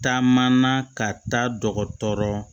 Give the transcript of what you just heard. Taamana ka taa dɔgɔtɔrɔ